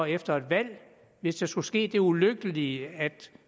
efter et valg hvis der skulle ske det ulykkelige at